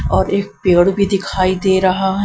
और एक पेड़ भी दिखाई दे रहा है ।